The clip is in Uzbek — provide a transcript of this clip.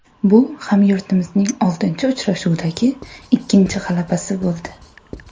Bu hamyurtimizning oltinchi uchrashuvdagi ikkinchi g‘alabasi bo‘ldi.